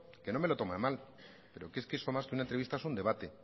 que no me lo tome a mal que eso más que una entrevista es un debate